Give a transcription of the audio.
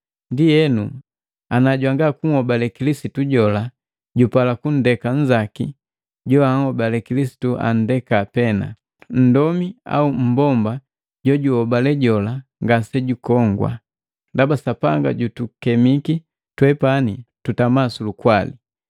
Ndienu, ana jwangakuhobale Kilisitu jola jupala kundeka nnzaki, joanhobale Kilisitu andeka pena. Nndomi au mmbomba jojunhobale jola ngase jukongwa. Ndaba Sapanga jutukemiki twepani tutama sulukwali.